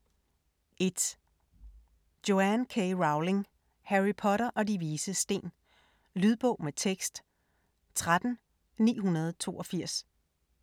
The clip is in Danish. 1. Rowling, Joanne K.: Harry Potter og De Vises Sten Lydbog med tekst 13982